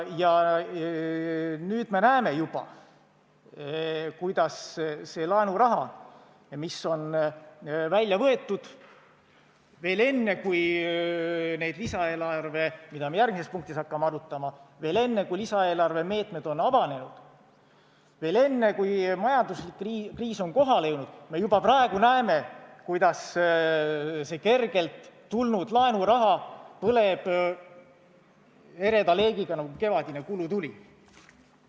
Ja nüüd me juba näeme, kuidas see laenuraha, mis on välja võetud veel enne, kui selle lisaeelarve, mida me järgmises punktis arutama hakkame, meetmed on avanenud, veel enne, kui majanduskriis on kohale jõudnud, me juba praegu näeme, kuidas see kergelt tulnud laenuraha põleb ereda leegiga nagu kevadine kulutuli.